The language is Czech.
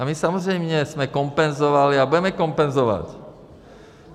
A my samozřejmě jsme kompenzovali a budeme kompenzovat.